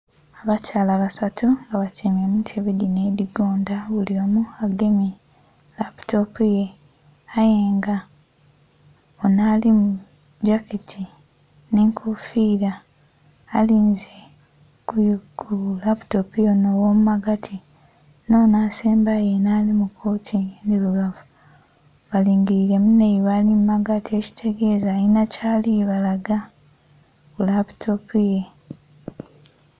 Abakyala basatu nga batyaime mu ntebe dhino edhigonda, buli omu agemye laputopu ye, aye nga onho ali mu gyaketi nhe enkofiila alinze ku laputopu y'onho ogho mu magati nh'onho asembayo enho ali mu kooti endhirugavu balingilire munhaibwe ali ghagati ekitegeeza alina byali balaga ku laputopu ye.